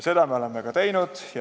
Seda me oleme ka teinud.